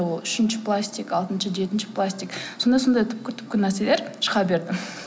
ол үшінші пластик алтыншы жетінші пластик сондай сондай түпкі түпкі нәрселер шыға берді